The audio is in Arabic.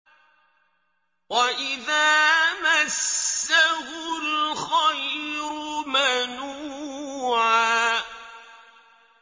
وَإِذَا مَسَّهُ الْخَيْرُ مَنُوعًا